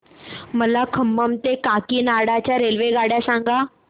मला खम्मम ते काकीनाडा च्या रेल्वेगाड्या सांगा